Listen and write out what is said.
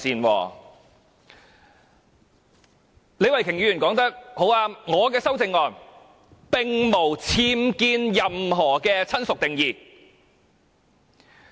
李慧琼議員說得很對，我的修正案並無僭建"親屬"的定義。